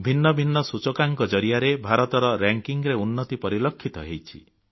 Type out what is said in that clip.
ଭିନ୍ନ ଭିନ୍ନ ସୂଚକାଙ୍କ ଜରିଆରେ ଭାରତର ମାନ୍ୟତାରେ ଉନ୍ନତି ପରିଲକ୍ଷିତ ହେଉଛି